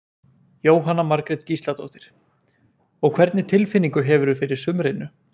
Jóhanna Margrét Gísladóttir: Og hvernig tilfinningu hefurðu fyrir sumrinu?